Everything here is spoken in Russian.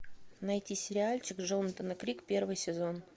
найти сериальчик джонатана крик первый сезон